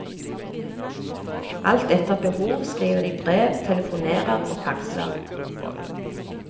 Alt etter behov skriver de brev, telefonerer og faxer.